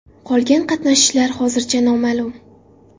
Qolgan qatnashchilar hozircha noma’lum.